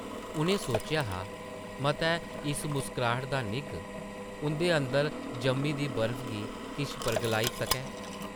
उʼनें सोचेआ हा मतै इस मुस्कराह्ट दा निग्घ उंʼदे अंदर जम्मी दी बर्फ गी किश परघलाई सकै ।